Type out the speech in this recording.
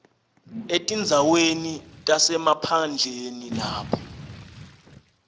etindzaweni tasemaphandleni lapho